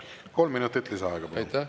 Kolm minutit lisaaega, palun!